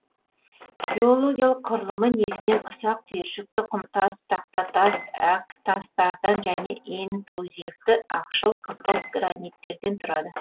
геологиялық құрылымы негізінен ұсақ түйіршікті құмтас тақтатас әктастардан және интрузивті ақшыл қызғылт граниттерден тұрады